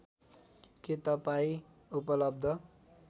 के तपाईँ उपलब्ध